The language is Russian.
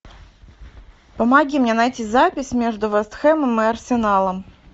помоги мне найти запись между вест хэмом и арсеналом